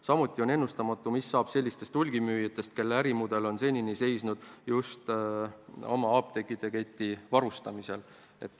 Samuti on ennustamatu, mis saab sellistest hulgimüüjatest, kelle ärimudel on seni seisnud just oma apteekide keti varustamisel.